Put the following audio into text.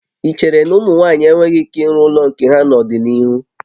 Ị chere na ụmụ nwaanyị enweghị ike ịrụ ụlọ nke ha n'ọdịnihu?